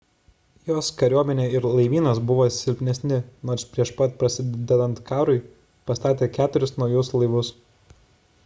jos kariuomenė ir laivynas buvo silpnesni nors prieš pat prasidedant karui pastatė keturis naujus laivus